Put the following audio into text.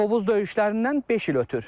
Tovuz döyüşlərindən beş il ötür.